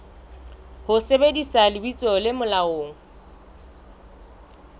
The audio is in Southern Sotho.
ho sebedisa lebitso le molaong